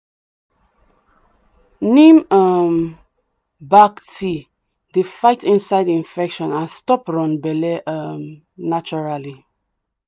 neem um bark tea dey fight inside infection and stop run belle um naturally.